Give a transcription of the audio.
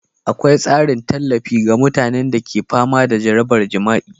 Akwai tsarin tallafi ga mutanen da ke fama da jarabar jima'i,